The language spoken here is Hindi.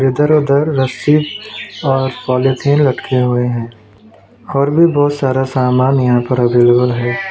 इधर उधर रस्सी और पॉलिथीन लटके हुए हैं और भी बहोत सारा सामान यहां पर अवेलेबल है।